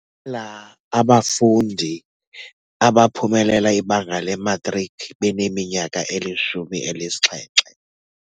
Baliqela abafundi abaphumelela ibanga lematriki beneminyaka elishumi elinesixhenxe.